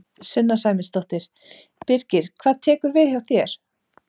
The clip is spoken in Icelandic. Sunna Sæmundsdóttir: Birgir hvað tekur við hjá þér?